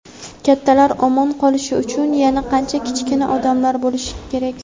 Kattalar omon qolishi uchun yana qancha kichkina odamlar o‘lishi kerak!.